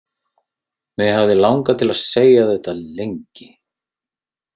Mig hafði langað til að segja þetta lengi.